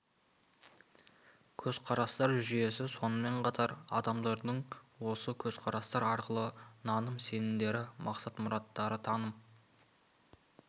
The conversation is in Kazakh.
көзқарастар жүйесі сонымен қатар адамдардың осы көзқарастар арқылы қалыптасқан негізгі өмірлік ұстанымдары наным-сенімдері мақсат-мұраттары таным